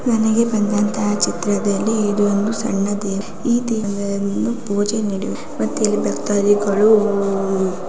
ನನಗೆ ಬಂದಂಥ ಚಿತ್ರದಲ್ಲಿ ಇದೊಂದು ಸಣ್ಣ ದೇವ. ಈ ದೇವನ್ನು ಪೂಜೆ ನಡೆಯು. ಮತ್ ಇಲ್ಲಿ ಭಕ್ತಾದಿಗಳು ಉಊ --